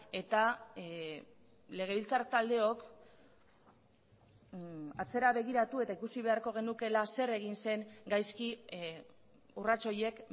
eta legebiltzar taldeok atzera begiratu eta ikusi beharko genukeela zer egin zen gaizki urrats horiek